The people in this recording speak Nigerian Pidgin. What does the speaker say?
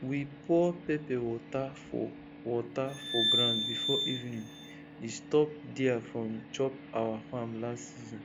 we pour pepper water for water for ground before evening e stop deer from chop our farm last season